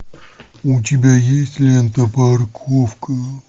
у тебя есть лента парковка